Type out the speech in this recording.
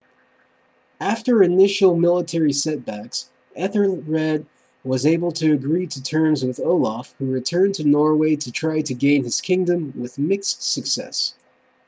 after initial military setbacks ethelred was able to agree to terms with olaf who returned to norway to try to gain his kingdom with mixed success